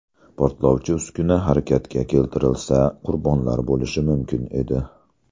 Portlovchi uskuna harakatga keltirilsa, qurbonlar bo‘lishi mumkin edi.